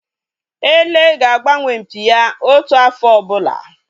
Ele ga-agbanwe mpi ya otu afọ ọbụla